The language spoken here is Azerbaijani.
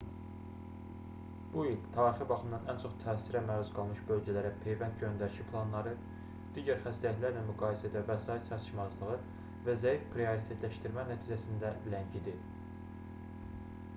bu il tarixi baxımdan ən çox təsirə məruz qalmış bölgələrə peyvənd göndərişi planları digər xəstəliklərlə müqayisədə vəsait çatışmazlığı və zəif prioritetləşdirmə nəticəsində ləngidi